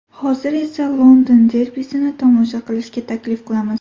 Hozir esa London derbisini tomosha qilishga taklif qilamiz.